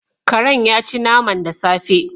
Karen yaci naman da safe